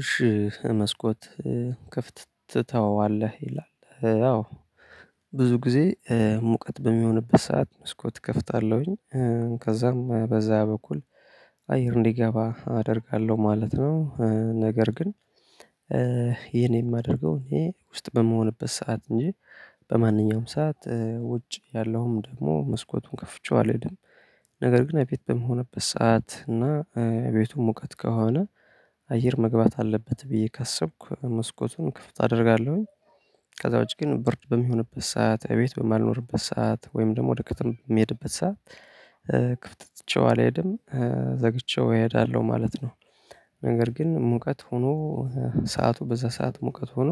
እሺ መስኮት ክፍት ትተዋለህ ይላል። አዎ። ብዙ ጊዜ ሙቀት በሚሆንበት ሰዓት መስኮት እከፍታለሁኝ ከዛም በዛ በኩል አየር እንዲገባ አደርጋለሁ ማለት ነው። ነገር ግን ይሄን የማደርገው እኔ ውስጥ በምሆንበት ሰዓት እንጂ በማንኛውም ሰዓት ውጭ ያለውም ደግሞ መስኮቱን ከፍቼው አልሄድም። ነገር ግን እቤት በመሆንበት ሰዓት እና እቤቱ ሙቀት ከሆነ አየር መግባት አለበት ብዬ ካሰብኩ መስኮቱን ክፍት አደርጋለሁኝ። ከዛ ውጪ ግን ብርድ በሚሆንበት ሰዓት እቤት በማልኖርበት ሰዓት ወይም ደግሞ ወደ ክትም በሚሄድበት ሰዓት ክፍት ትቼው አልሄድም ዘግቼው እሄዳለሁ ማለት ነው። ነገር ግን ሙቀት ሆኖ ሰዓቱ በዛ ሰዓት ሙቀት ሆኖ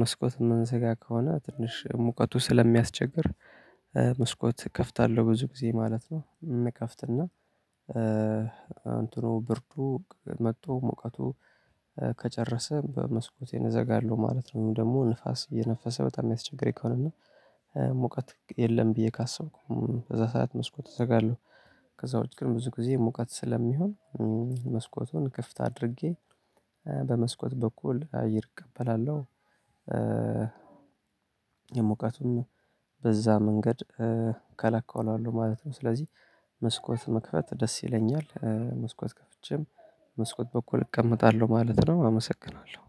መስኮት የምንዘጋ ከሆነ ትንሽ ሙቀቱ ስለሚያስቸግር መስኮት እከፍታለሁ ብዙ ጊዜ ማለት ነው። እንከፍትና እንትኑ ብርዱ መጥቶ ሙቀቱ ከጨረሰ በመስኮቴን እዘጋለሁ ማለት ነው። ወይም ደግሞ ንፋስ እየነፈሰ በጣም ሚያስቸግረኝ ከሆነ እና ሙቀት የለም ብዬ ካሰብኩም በዛ ሰዓት መስኮት እዘጋለሁ። ከዛ ውጭ ግን ብዙ ጊዜ ሙቀት ስለሚሆን መስኮቱን ክፍት አድርጌ በመስኮት በኩል አይር እቀበላለሁ። የሙቀቱ በዛ መንገድ እከላከለዋለሁ ማለት ነው። ስለዚህ መስኮት መክፈት ደስ ይለኛል። መስኮት ከፍቼም በመስኮት በኩል እቀመጣለሁ ማለት ነው። አመሰግናለሁ።